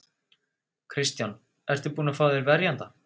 Kristján: Ertu búinn að fá þér verjanda?